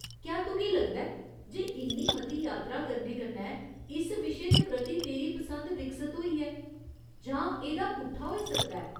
क्या तुगी लगदा ऐ जे इन्नी मती यात्रा करने कन्नै इस विशे दे प्रति तेरी पसंद विकसत होई ऐ जां एह्दा पुट्ठा होई सकदा ऐ ?